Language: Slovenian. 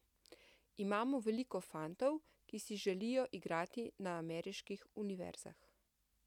Imamo veliko fantov, ki si želijo igrati na ameriških univerzah.